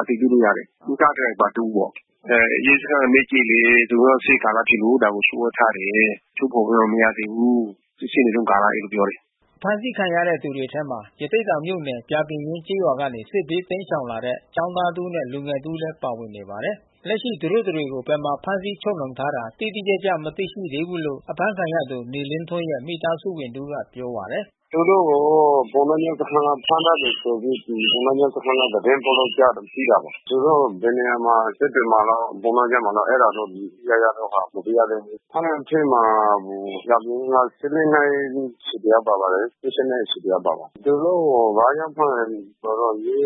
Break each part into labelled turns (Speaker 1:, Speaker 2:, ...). Speaker 1: အတည်ပြုလို့ရတယ်။ ကားဒရိုင်ဘာ တဦးပေါ့။ ရဲစခန်းကို မေးကြည့်လဲ သူတို့က စစ်ရေး ကာလဖြစ်လို့ ဒါကို လျှို့ဝှက်ထားတယ်။ ထုတ်ဖေါ်လို့ မရသေးဘူး။ စီစစ်နေတုန်းကာလ အဲဒီလိုပြောတယ်။
Speaker 2: ” အဖမ်းဆီးခံရတဲ့သူတွေအထဲမှာ ရသေ့တောင်မြို့နယ် ပြာပင်ရင်းကျေးရွာကနေ စစ်ဘေး တိမ်းရှောင်လာတဲ့ ကျောင်းသားတဦးနဲ့လူငယ်တဦးလဲ ပါဝင်နေပါတယ်။ လက်ရှိသူတို့ တတွေကို ဘယ်မှာ ဖမ်းဆီးချုပ်နှောင်ထားတာ တိတိကျကျ မသိရှိသေးဘူးလို့ အဖမ်းခံရသူ နေလင်းထွန်း ရဲ့ မိသားစုဝင်တဦးက ပြောပါတယ်။
Speaker 3: “သူတို့ကို ပုဏ
Speaker 1: ္ဏားကျွန်းစခန်းကနေ ဖမ်းထားတယ်ဆိုပြီး ပုဏ္ဏားကျွန်း စခန်းက သတင်းပို့လို့ကြားတယ် သိတာပေါ့။ သူတို့ ဘယ်နေရာမှာ စစ်တွေမှာလား ပုဏ္ဏားကျွန်းမှာလား အဲတာတော့ တိတိကျကျတော့ မသိရသေးဘူး။ ဖမ်းတဲ့အထဲမှာ ပြာပင်ရင်းက နှစ် တယောက်ပါပါတယ်။ နှစ် တယောက် ပါပါတယ်။ သူတို့ကိုဘာကြောင့်ဖမ်းတာ လဲဆိုတော့ ရဲ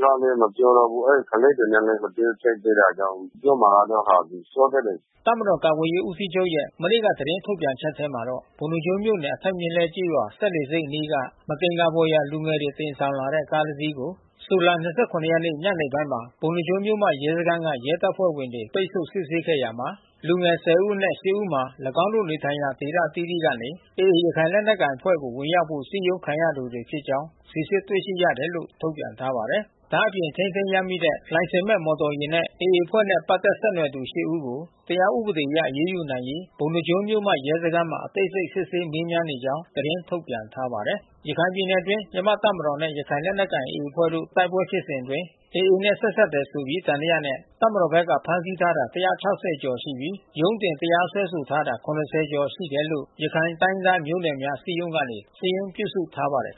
Speaker 1: ကလဲ မပြောတော့ဘူး။ အဲဒီကလေးတွေနဲ့ မတွေ့ဖြစ်တာကြောင့် ပြောမှာကတော့ စောသေးတယ်။
Speaker 2: ” တပ်မတော်ကာကွယ်ရေးဦးစီးချုပ်ရဲ့ မနေ့ကသတင်းထုတ်ပြန်ချက်ထဲမှာတော့ ပုဏ္ဏားကျွန်းမြို့နယ်၊ အထက်မြက်လှဲ ကျေးရွာ စက်လှေဆိပ်အနီးက မသင်္ကာဖွယ်ရာ လူငယ်တွေ တင်ဆောင်ထားတဲ့ ကား ၁ စီးကို ဇူလိုင် ၂၇ ရက် ညနေ ပိုင်းမှာ ပုဏ္ဏားကျွန်းမြို့မရဲစခန်းက ရဲတပ်ဖွဲ့ဝင်တွေ ပိတ်ဆို့ စစ်ဆေးခဲ့ရာမှာ လူငယ် ၁၀ ဦးအနက် ၈ ဦးမှာ ၎င်းတို့ နေထိုင်ရာ ဒေသအသီးသီးကနေ AAရခိုင်လက်နက်ကိုင်အဖွဲ့ ကို ဝင်ရောက်ဖို့စည်းရုံးခံရသူတွေဖြစ်ကြောင်း စီစစ် တွေ့ ရှိရတယ်လို့ ထုတ်ပြန်ထားပါတယ်။ ဒါအပြင် ထိန်းသိမ်းရမိတဲ့ လိုင်စင်မဲ့မော်တော်ယာဉ်နဲ့ AA အဖွဲ့နဲ့ပတ်သက်ဆက်နွယ်သူ ၈ ဦးကို တရားဥပဒေအရ အရေးယူနိုင်ရေး ပုဏ္ဏားကျွန်းမြို့မရဲစခန်းမှာ အသေးစိတ် စစ်ဆေးမေးမြန်းနေ ကြောင်း သတင်းထုတ်ပြန်ထားပါတယ်။ ရခိုင်ပြည်နယ်အတွင်း မြန်မာ့တပ်မတော်နဲ့ရခိုင်လက်နက်ကိုင်AA အဖွဲ့တို့တိုက်ပွဲဖြစ်စဉ်အတွင်း AAနဲ့ဆက်စပ်တယ် ဆိုပြီး သံသယနဲ့ တပ်မတော်ဖက်က ဖမ်းဆီးထားတာ ကျော်ရှိပြီး ရုံးတင်တရားစွဲဆိုထားတာ ကျော် ရှိတယ် လို့ ရခိုင်တိုင်းရင်းသားမျိုးနွယ်များ အစည်းအရုံးကနေ စာရင်းပြုစုထားပါတယ်